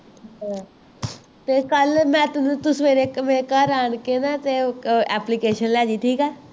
ਤੇ ਕੱਲ ਮੈਂ ਤੂੰ ਸੁਵੇਰੇ ਮੇਰੇ ਘਰ ਆਣਕੇ ਨਾ ਤੇ ਲੈਜੀ ਠੀਕ ਹੈ